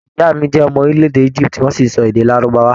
Ìyá mí jẹ ọmọ orílẹ̀-èdè íjíbítì, wọn sì n sọ èdè lárùbáwá.